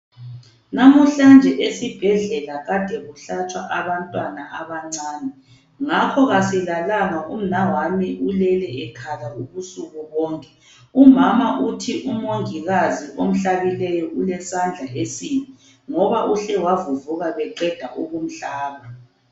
Namuhlanje esibhedlela kade kuhlatshwa abantwana abancane, ngakho asilalanga umnawami ulele ekhala ubusuku bonke. Umama uthi umongikazi omhlabileyo ulesandla esibi, ngoba uhle wavuvuka beqeda ukumhlaba.